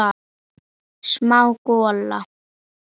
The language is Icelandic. Smá gola.